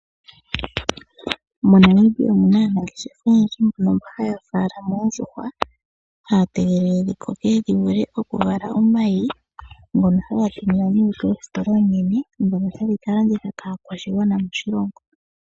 MoNamibia omuna aamati oyendji mbono haya faalama oondjuhwa, haya tegelele dhi koke dhi vule oku vala omayi, ngono haga tuminwa nee koositola oonene ndhono hadhi ka landitha kaakwashigwana moshilongo.